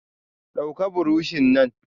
Dauka buroshi nan!